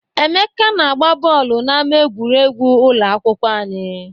Emeka na-agba bọọlụ n'ámá egwuregwu ụlọ akwụkwọ anyị.